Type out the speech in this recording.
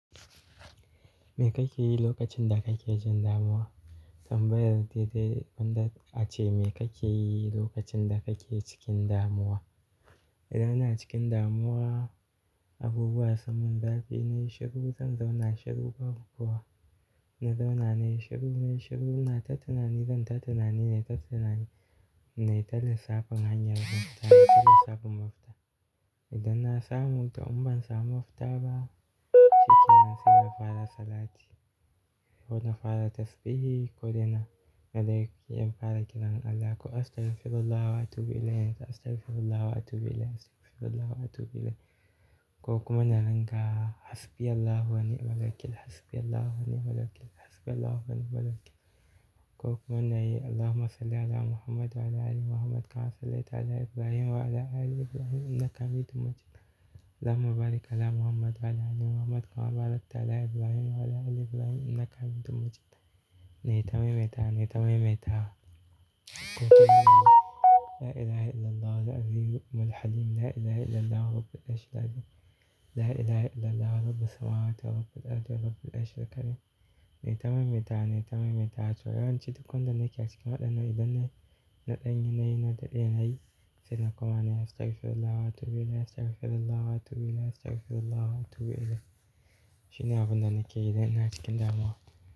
Me kake yi lokacin da kake jin damuwa? Tambaya ce dai gwanda a ce me kake yi lokacin da kake cikin damuwa. Idan ina cikin damuwa, abubuwa samun zafi inyi shiru, zan zauna shiru babu kowa. Na zauna na yi shiru, na yi shiru, ina ta tunani zan ta tunani, na yi ta tunani, na yi ta lissafta hanyar mafita, na yi ta lissafin mafita. Idan na samu, to in ban samu mafita ba, cikin na sai na fara salati ko na fara tasbihi ko dai na, nadai sai in fara kiran Allah, ko "Astaghfirullah wa atubu ilaih, astaghfirullah wa atubu ilaih, astaghfirullah wa atubu ilaih". Ko kuma na ringa "Hasbiyallahu wa ni'mal wakil, hasbiyallahu wa ni'mal wakil, hasbiyallahu wa ni'mal wakil". Ko kuma na yi "Allahumma salli 'ala Muhammad wa 'ala ali Muhammad kama sallaita 'ala Ibrahim wa 'ala ali Ibrahim innaka hamidun majid. Allahumma barik 'ala Muhammad wa 'ala ali Muhammad kama barakta 'ala Ibrahim wa 'ala ali Ibrahim innaka hamidun majid". Na yi ta maimaita wa, na yi ta maimaita wa. Ko kuma na yi "La ilaha illallah wal adhimu wal 'alim. La ilaha illallah wa rabbil 'arsyi 'azim. La ilaha illallah wa rabbis samawati wa rabbil ardhi wa rabbil 'arsyi l-azim". Na yi tamimi ita, na yi tamimi ita. To yawan ci duk wanda nake a cikin waɗannan idan na, na ɗan yi na daɗe na yi. Sai na kuma nayi"Astaghfirullah wa atubu ilaih, astaghfirullah wa atubu ilaih, astaghfirullah wa atubu ilaih". Shine abun da nake yi idan ina cikin damuwa.